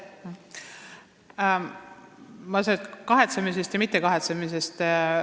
Ma sellest kahetsemisest ja mittekahetsemisest ei räägiks.